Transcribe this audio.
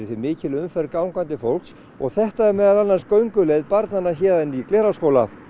því mikil umferð gangandi fólks og þetta er meðal annars gönguleið barnanna héðan í Glerárskóla